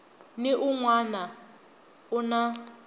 ni un wana u na